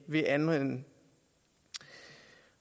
vil anvende